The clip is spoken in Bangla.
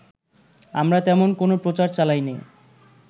আমরা তেমন কোনো প্রচার চালাইনি